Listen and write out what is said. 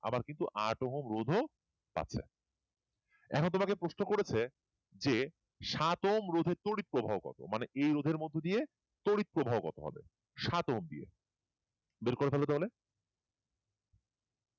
আবার কিন্তু আট ওহম রোধ ও পাচ্ছে এখন তোমাকে প্রশ্ন করেছে যে সাত ওহম রোধের তড়িৎ প্রবাহ কত মানে এই রোধের মধ্যে দিয়ে তড়িৎ প্রবাহ কত হবে সাত ওহম দিয়ে বের করে ফেলো তাহলে